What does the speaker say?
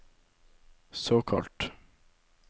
såkalt